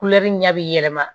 ɲɛ bɛ yɛlɛma